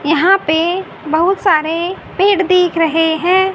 यहां पे बहुत सारे पेड़ दिख रहे है।